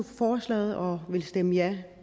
for forslaget og vil stemme ja